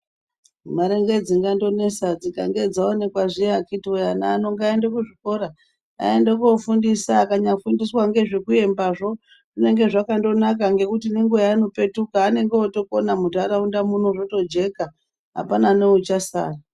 Mare ndidzo dzingandonesa, kana dzaoneka ana ngaaende kuzvikora, aende kofundiswa. Kana akafundiswa ngezvekuyembazvo, zvakandonaka ngekuti nenguwa yeanopetuka anondokona munharaunda motojeka apana neuchasara.